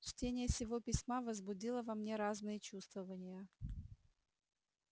чтение сего письма возбудило во мне разные чувствования